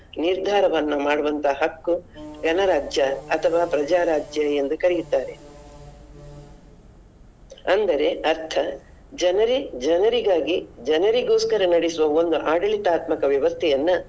ನಿರ್ಧಾರವನ್ನು ಮಾಡುವಂತ ಹಕ್ಕು ಗಣರಾಜ್ಯ ಅಥವಾ ಪ್ರಜಾ ರಾಜ್ಯ ಎಂದು ಕರಿಯುತ್ತಾರೆ. ಅಂದರೆ ಅರ್ಥ ಜನರೇ ಜನರಿಗಾಗಿ ಜನರಿಗೋಸ್ಕರ ನಡೆಸುವ ಒಂದು ಆಡಳಿತಾತ್ಮಕ ವ್ಯವಸ್ಥೆಯನ್ನ.